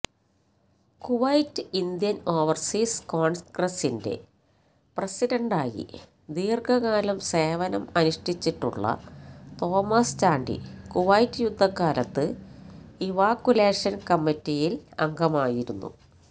Kuwait Indian overseas കോണ്ഗ്രസിന്റെ പ്രസിഡന്റായി ദീര്ഘകാലം സേവനം അനുഷ്ഠിച്ചിട്ടുള്ള തോമസ് ചാണ്ടി കുവൈറ്റ് യുദ്ധകാലത്ത് ഇവാക്യുലേഷന് കമ്മിറ്റിയില് അംഗമായിരുന്നു